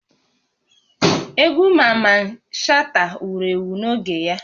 Egwu Maman Shata wuru ewu n'oge ya